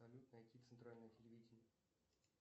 салют найти центральное телевидение